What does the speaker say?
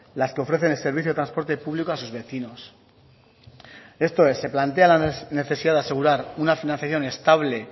las que ofrecen el servicio de transporte público a sus vecinos esto es se plantea la necesidad de asegurar una financiación estable